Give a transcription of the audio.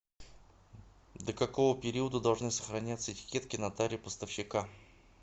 до какого периода должны сохраняться этикетки на таре поставщика